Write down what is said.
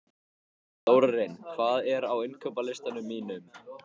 Þórarinn, hvað er á innkaupalistanum mínum?